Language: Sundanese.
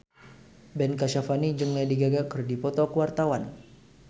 Ben Kasyafani jeung Lady Gaga keur dipoto ku wartawan